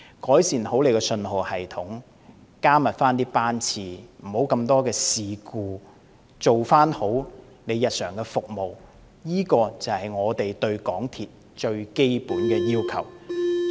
改善信號系統，加密班次，減少事故次數，做好日常服務，這才是我們對港鐵公司最基本的要求。